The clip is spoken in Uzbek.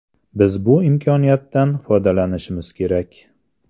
Biz bu imkoniyatdan foydalanishimiz kerak.